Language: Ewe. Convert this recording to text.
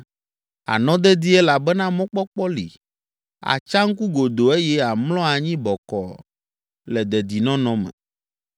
Ànɔ dedie elabena mɔkpɔkpɔ li, àtsa ŋku godoo eye àmlɔ anyi bɔkɔɔ le dedinɔnɔ me.